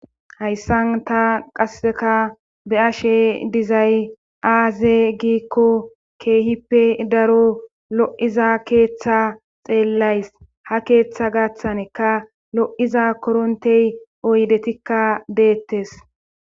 Hayssan ta qasseka be'ashe dizay aaze giikko keehippe daro lo'iza keeththa xeellays. Ha keeththa gaththanika lo'iza korontiya oydetikka deettes.